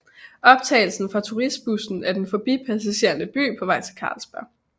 Optagelse fra turistbussen af den forbipasserende by på vej til Carlsberg